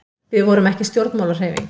við vorum ekki stjórnmálahreyfing